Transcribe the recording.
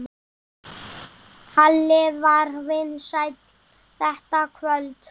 Halli var vinsæll þetta kvöld.